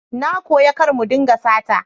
Na koya kar mu dinga sata